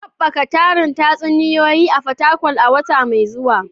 Haɓaka tarin tatsuniyoyi a Fatakwal a wata mai zuwa